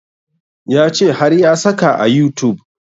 Ya ce har ya saka a youtube